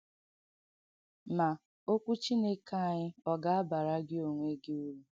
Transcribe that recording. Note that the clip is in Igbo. Ma, “ọ̀kwụ Chineke ànyị” ọ̀ ga-abara gị onwe gị uru?